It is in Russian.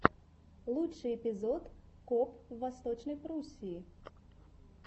лучший эпизод коп в восточной пруссии